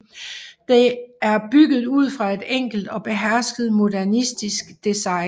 Det er bygget ud fra et enkelt og behersket modernistisk design